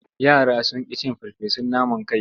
Yara sun ƙi cin farfesun naman kai.